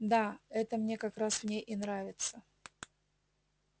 да это мне как раз в ней и нравится